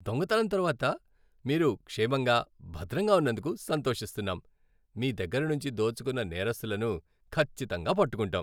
దొంగతనం తర్వాత మీరు క్షేమంగా, భద్రంగా ఉన్నందుకు సంతోషిస్తున్నాం. మీ దగ్గర నుంచి దోచుకున్న నేరస్తులను ఖచ్చితంగా పట్టుకుంటాం.